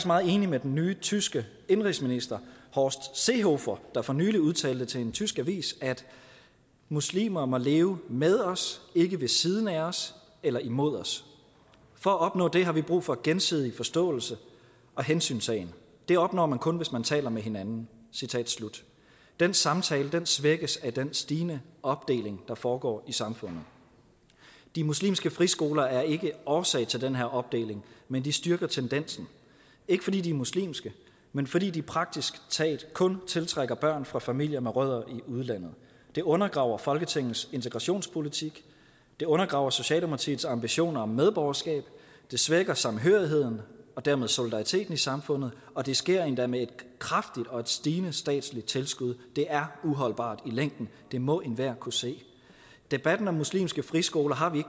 meget enig med den nye tyske indenrigsminister horst seehofer der for nylig udtalte til en tysk avis muslimer må leve med os ikke ved siden af os eller imod os for at opnå det har vi brug for gensidig forståelse og hensyntagen det opnår man kun hvis man taler med hinanden den samtale svækkes af den stigende opdeling der foregår i samfundet de muslimske friskoler er ikke årsag til den her opdeling men de styrker tendensen ikke fordi de er muslimske men fordi de praktisk taget kun tiltrækker børn fra familier med rødder i udlandet det undergraver folketingets integrationspolitik det undergraver socialdemokratiets ambitioner om medborgerskab og det svækker samhørigheden og dermed solidariteten i samfundet og det sker endda med et kraftigt og stigende statsligt tilskud det er uholdbart i længden det må enhver kunne se debatten om muslimske friskoler har vi